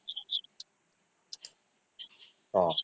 ହଁ